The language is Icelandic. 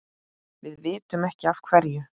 Við vitum ekki af hverju.